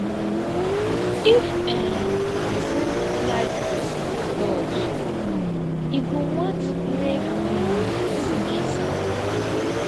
if um pesin like physical touch e go want make em pesin kiss am